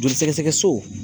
Joli sɛgɛsɛgɛ so